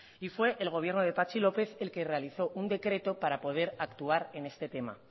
y fue el gobierno de patxi lópez el que realizó un decreto para poder actuar en este tema